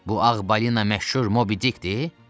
Bu ağ balina məşhur Mobidikdir?